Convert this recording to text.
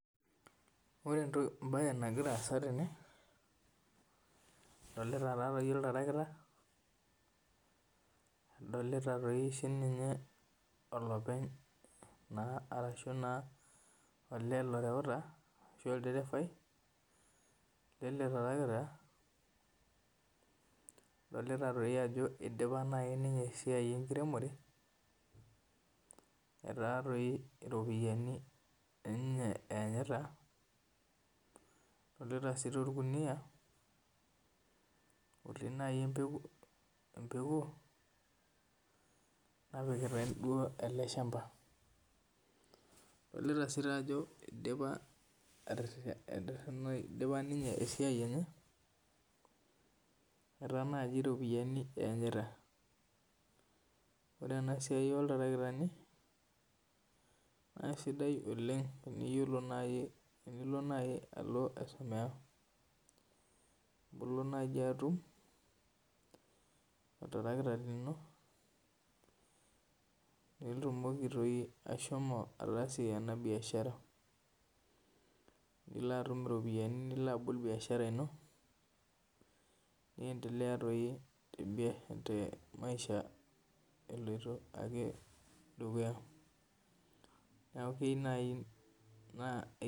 Ore ebae nagira aasa tene adolita taa doi iltarakita adolita sii ninye olopeny naa arashu naa olee loreuta ashu olderefai lele tarakita. Adolita doii ajo idipa naii ninye esiai enkiremore etaa toii iropiani ninye enyita. Adolita sii orkunia looti naji empeku napikitai ele shamba. Adolita sii ajo idipa ninye esiai enye etaa naji iropiani eenyita. Ore ena siai oltarikitani naa sidai oleng' tenilo naji teniyiolo naji alo aisomea ilo naji atum oltarakita lino pitumoki doii atasie ena biashara. Nilo atum iropiani nilo abol biashara ino niendelea doij te maisha eloito ake dukuya. Neeku keyeu naji.